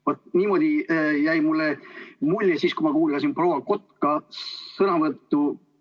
Vaat niisugune mulje jäi mulle siis, kui ma kuulasin proua Kotka sõnavõttu.